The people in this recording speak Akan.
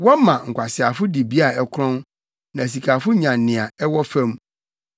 Wɔma nkwaseafo dibea a ɛkorɔn, na asikafo nya nea ɛwɔ fam.